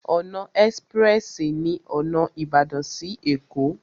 Ọ̀nà ẹ́sprẹ́sì ní ọ̀nà Ìbàdàn sí Ẹ̀kó.